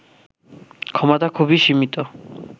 ক্ষমতা খুবই সীমিত